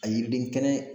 A yiriden kɛnɛ